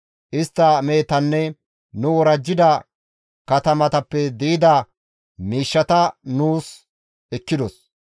Istta mehetanne nu worajjida katamatappe di7ida miishshata nuus ekkidos.